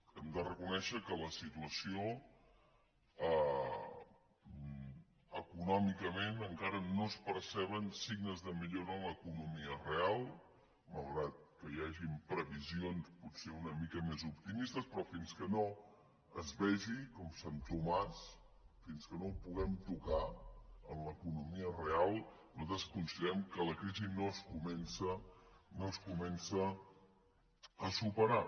hem de reconèixer que en la situació econòmicament encara no es perceben signes de millora en l’economia real malgrat que hi hagin previsions potser una mica més optimistes però fins que no es vegi com sant tomàs fins que no ho puguem tocar en l’economia real nosaltres considerem que la crisi no es comença a superar